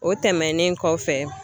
O tɛmɛnen kɔfɛ